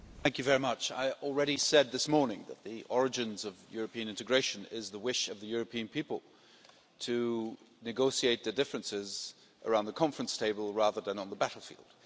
Mr President, I already said this morning that the origins of European integration is the wish of the European people to negotiate their differences around the conference table rather than on the battlefield.